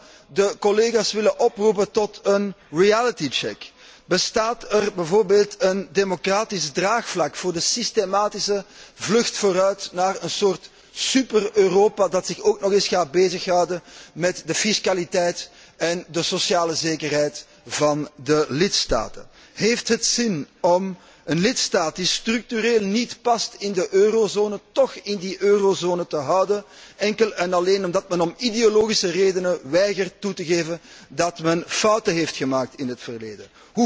Ik zou de collega's willen oproepen tot een reality check Bestaat er bijvoorbeeld een democratisch draagvlak voor de systematische vlucht vooruit naar een soort super Europa dat zich ook nog eens gaat bezig houden met de fiscaliteit en de sociale zekerheid van de lidstaten? Heeft het zin om een lidstaat die structureel niet past in de eurozone, toch in die eurozone te houden, enkel en alleen omdat men om ideologische redenen weigert toe te geven dat men fouten heeft gemaakt in het verleden?